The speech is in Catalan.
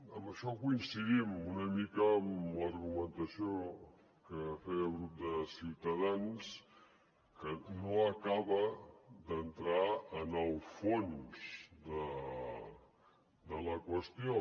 en això coincidim una mica amb l’argumentació que feia el grup de ciutadans que no acaba d’entrar en el fons de la qüestió